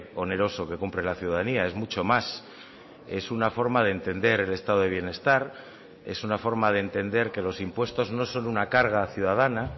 oneroso que cumple la ciudadanía es mucho más es una forma de entender el estado de bienestar es una forma de entender que los impuestos no son una carga ciudadana